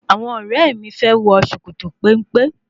Àwọn ọ̀rẹ́ mi fẹ́ wọ sòkòtò péńpé n